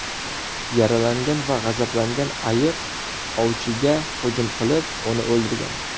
Yaralangan va g‘azablangan ayiq ovchiga hujum qilib, uni o‘ldirgan.